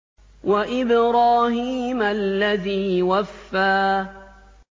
وَإِبْرَاهِيمَ الَّذِي وَفَّىٰ